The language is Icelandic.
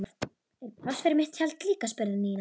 Er pláss fyrir mitt tjald líka? spurði Nína.